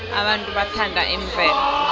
abantu bathanda imvelo